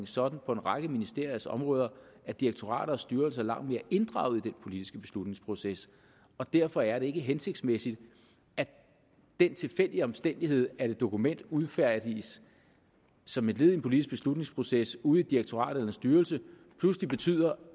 sådan på en række ministeriers områder at direktorater og styrelser er langt mere inddraget i den politiske beslutningsproces derfor er det ikke hensigtsmæssigt at den tilfældige omstændighed at et dokument udfærdiges som et led i en politisk beslutningsproces ude i et direktorat eller en styrelse pludselig betyder